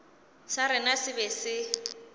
sa rena se be se